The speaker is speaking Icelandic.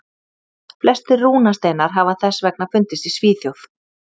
Flestir rúnasteinar hafa þess vegna fundist í Svíþjóð.